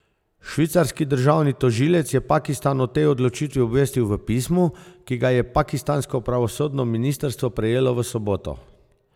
Švicarski državni tožilec je Pakistan o tej odločitvi obvestil v pismu, ki ga je pakistansko pravosodno ministrstvo prejelo v soboto.